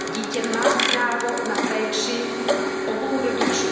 Dítě má právo na péči obou rodičů.